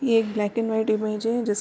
ये एक black and white image है जिस --